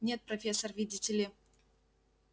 нет профессор видите ли